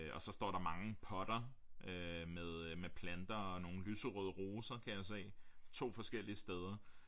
Og så står der mange potter øh med øh med planter og nogle lyserøde roser kan jeg se 2 forskellige steder